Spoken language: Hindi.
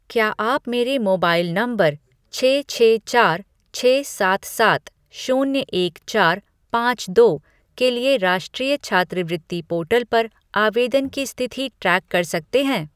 क्या आप मेरे मोबाइल नंबर छह छह चार छह सात सात शून्य एक चार पाँच दो के लिए राष्ट्रीय छात्रवृत्ति पोर्टल पर आवेदन की स्थिति ट्रैक कर सकते हैं?